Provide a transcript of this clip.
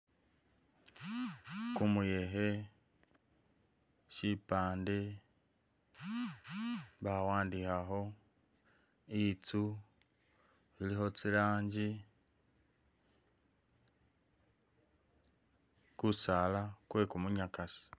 Kumuyekhe, syipaande bawandikhakho, itsu ilikho tsilangi, kusala kwe kumunyakasi.